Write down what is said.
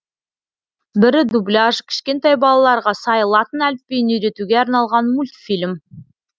бірі дубляж кішкентай балаларға сай латын әліпбиін үйретуге арналған мультфильм